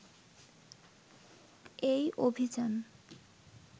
এই অভিযান